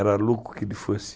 Era louco que ele fosse...